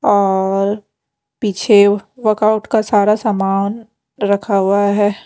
औऔर पीछे वर्कआउट का सारा सामान रखा हुआ है ।